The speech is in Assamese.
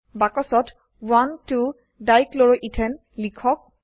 বাক্সত 12 ডাইক্লোৰোইথেন লিখক